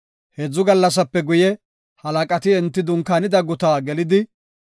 Heedzu gallasape guye, halaqati enti dunkaanida guta gelidi,